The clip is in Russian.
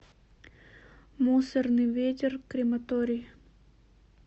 мусорный ветер крематорий